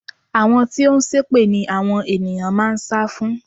Àwọn tí ó ń ṣépè ni àwọn ènìyàn máa ń sá fún.